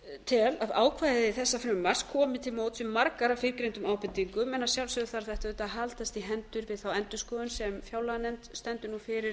tel að ákvæði þessa frumvarps komi til móts við margar af fyrrgreindum ábendingum en að sjálfsögðu þarf þetta auðvitað að haldast í hendur við þá endurskoðun sem fjárlaganefnd stendur nú fyrir